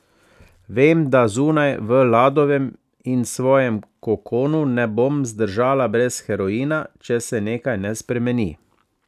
Vem, da zunaj, v Ladovem in svojem kokonu ne bom zdržala brez heroina, če se nekaj ne spremeni.